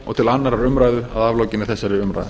og annarrar umræðu að aflokinni þessari umræðu